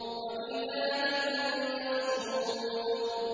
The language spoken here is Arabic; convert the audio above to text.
وَكِتَابٍ مَّسْطُورٍ